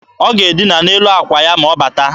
Ọ ga-edịna n'elu akwa ya ma ọ bata